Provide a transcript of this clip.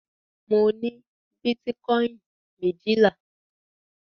Mo ní bítíkọ́ìn méjìlá.